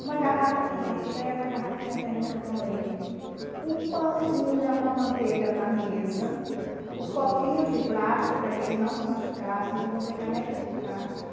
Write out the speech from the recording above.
Uma garrafa com café, uma garrafinha térmica com leite, o pãozinho já com a manteiga na mesa, os copinhos de plástico para que eles não se machucassem, então eu comprei canecas de plástico.